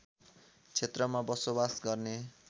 क्षेत्रमा बसोबास गर्ने